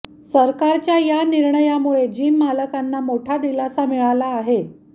सरकारच्या या निर्णयामुळे जिम मालकांना मोठा दिलासा मिळाला आहे